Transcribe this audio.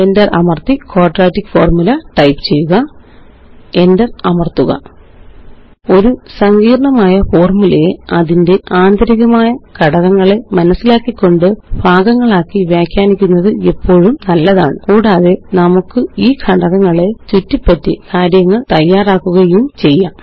enter അമര്ത്തി quadratic formula type ചെയ്യുക Enter അമര്ത്തുക ഒരു സങ്കീര്ണ്ണമായ ഫോര്മുലയെ അതിന്റെ ആന്തരികമായ ഘടകങ്ങളെ മനസ്സിലാക്കിക്കൊണ്ട് ഭാഗങ്ങളാക്കി വ്യാഖ്യാനിക്കുന്നത് എപ്പോഴും നല്ലതാണ് കൂടാതെ നമുക്കീ ഘടകങ്ങളെ ചുറ്റിപ്പറ്റി കാര്യങ്ങള് തയ്യാറാക്കുകയും ചെയ്യാം